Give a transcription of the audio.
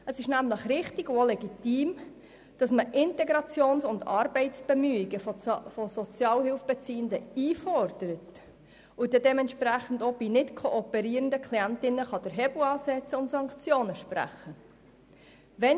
Es ist richtig und legitim, dass man Integrations- und Arbeitsbemühungen von Sozialhilfebeziehenden einfordert und bei nichtkooperierenden Klientinnen und Klienten den Hebel ansetzen und Sanktionen sprechen kann.